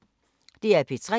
DR P3